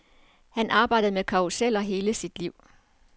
Han arbejdede med karruseller i hele sit liv.